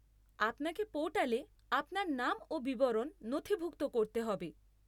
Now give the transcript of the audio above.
আপনাকে পোর্টালে আপনার নাম ও বিবরণ নথিভুক্ত করতে হবে।